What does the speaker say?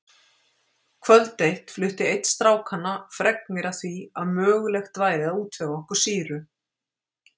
Kvöld eitt flutti einn strákanna fregnir af því að mögulegt væri að útvega okkur sýru.